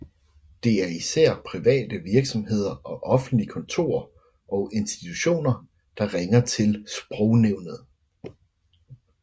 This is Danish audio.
Det er især private virksomheder og offentlige kontorer og institutioner der ringer til Sprognævnet